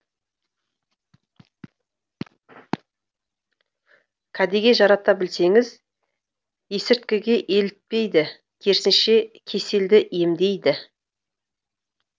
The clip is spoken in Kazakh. кәдеге жарата білсеңіз есірткіге елітпейді керісінше кеселді емдейді